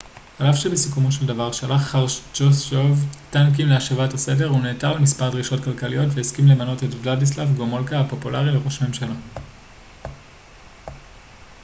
על אף שבסיכומו של דבר שלח חרושצ'וב טנקים להשבת הסדר הוא נעתר למספר דרישות כלכליות והסכים למנות את ולדיסלב גומולקה הפופולרי לראש ממשלה